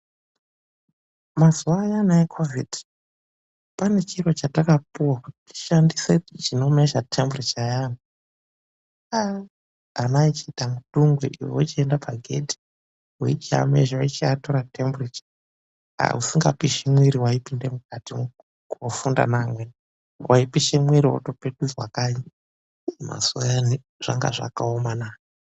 Mazuva ayana ekhovhidhi kune chimuchini chataishandisa kuona kuti mumwiri wemundu ukupisa zvakadii vana vapinda mudungwe kana uchipisa mumwiri waidzokera kumba kana usingapishi waizoenda kunotaticha nevamwe waipishe mwiri waipetudzwa kanyi. Inga zvakaomana.